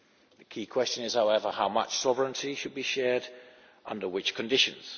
The key question is, however, how much sovereignty should be shared under which conditions.